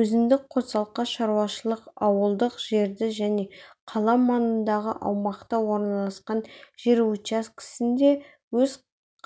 өзіндік қосалқы шаруашылық ауылдық жерде және қала маңындағы аймақта орналасқан жер учаскесінде өз